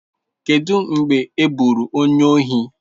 Kedu mgbe e gburu onye ohi?